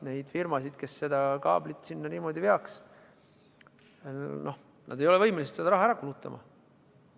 Need firmad, kes kaablit sinna niimoodi veaks – nad ei ole võimelised seda raha ära kulutama.